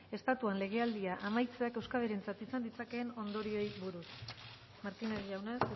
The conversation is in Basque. estatuan legealdia amaitzeak euskadirentzat izan ditzakeen ondorioei buruz martínez jauna